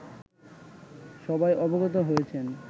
সবাই অবগত হয়েছেন